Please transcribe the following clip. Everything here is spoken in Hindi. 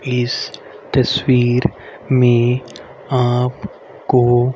इस तस्वीर में आप को--